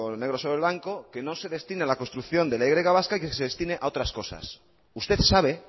negro sobre blanco que no se destine a la construcción de la y vasca que se destine a otras cosas usted sabe